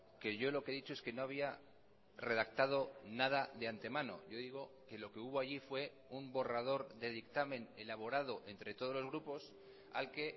que yo lo que he dicho es que no había redactado nada de antemano yo digo que lo que hubo allí fue un borrador de dictamen elaborado entre todos los grupos al que